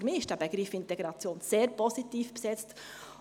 Für mich ist der Begriff Integration sehr positiv besetzt.